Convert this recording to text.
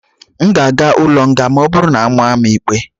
M ga-aga n'ụlọ nga ma ọ bụrụ na a maa m ikpe?